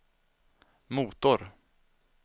motor